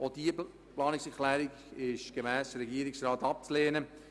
Auch diese Planungserklärung ist gemäss dem Regierungsrat abzulehnen.